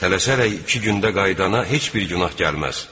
Tələsərək iki gündə qaidana heç bir günah gəlməz.